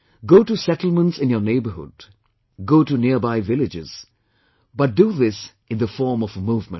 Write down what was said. Go to settlements in your neighborhood, go to nearby villages, but do this in the form of a movement